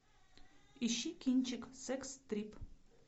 ищи кинчик секс трип